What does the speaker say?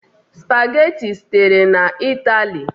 Spageti sitere na Italy.